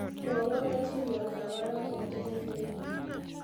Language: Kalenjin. Mwowo adintotab barak eng k.t.n